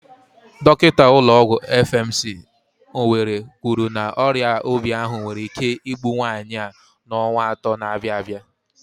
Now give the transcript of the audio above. Dọkinta ụlọ ọgwụ FMC, Owerri kwuru na ọrịa obi ahụ nwere ike igbu nwaanyị a n'ọnwa atọ na-abịa abịa.